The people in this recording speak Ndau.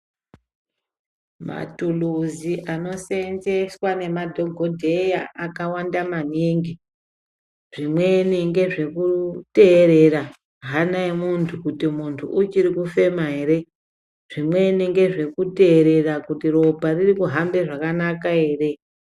Matiluzi anosenzeswa nemadhogodheya akawanda maningi Zvimweni ngezvekuterera hana yemuntu kuti muntu uchiri kufema ere. Zvimeni ngezvekuterera kuti ropa riri kuhambe zvakanaka ere.